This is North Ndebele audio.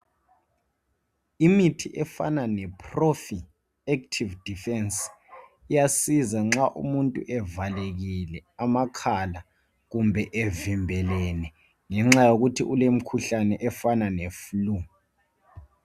Imithi efana le profi active defence iyasiza kakhulu nxa umuntu evalekile amakhala kumbe nxa evimbelene ngenxa yokuthi ulemkhuhlane efana leflue.